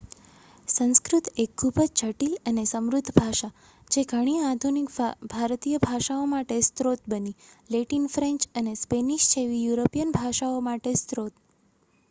સંસ્કૃત એક ખૂબ જ જટિલ અને સમૃદ્ધ ભાષા, જે ઘણી આધુનિક ભારતીય ભાષાઓમાટે સ્ત્રોત બની, લેટિન ફ્રેન્ચ અને સ્પેનિશ જેવી યુરોપિયન ભાષાઓ માટે સ્રોત